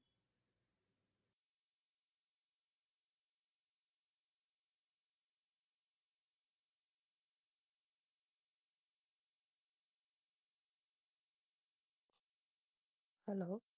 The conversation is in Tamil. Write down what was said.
hello